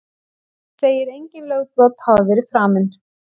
Segir engin lögbrot hafa verið framin